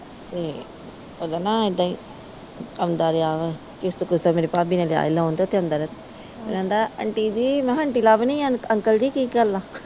ਤੇ ਉਹ ਦਾ ਨਾ ਇਹਦਾ ਈ ਆਉਂਦਾ ਰਿਹਾ ਕਿਸਤ ਕੁਸਤਾ ਮੇਰੀ ਭਾਬੀ ਨਾ ਦਿਆ ਹੀ ਲਾਉਣ ਉੱਥੇ ਅੰਦਰ ਆਂਦਾ ਆਂਟੀ ਜੀ ਮੈ ਕਿਹਾ ਆਂਟੀ ਲਗਣੀ ਆ ਕੀ ਗੱਲ ਅੰਕਲ ਜੀ ਕੀ ਗੱਲ ਆ।